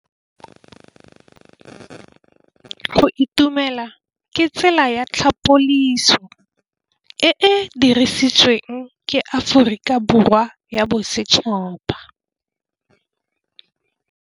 Go itumela ke tsela ya tlhapolisô e e dirisitsweng ke Aforika Borwa ya Bosetšhaba.